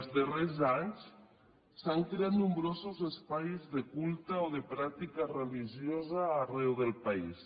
els darrers anys s’han creat nombrosos espais de culte o de pràctica religiosa arreu del país